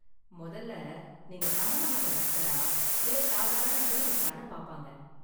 மொதல்ல நீங்க சமண மத பக்தரா இல்ல சாதாரண டூரிஸ்டானு பாப்பாங்க.